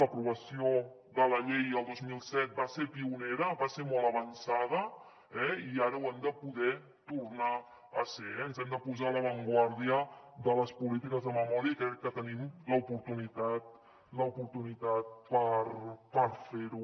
l’aprovació de la llei el dos mil set va ser pionera va ser molt avançada i ara ho hem de poder tornar a ser eh ens hem de posar a l’avantguarda de les polítiques de memòria i crec que tenim l’oportunitat per fer ho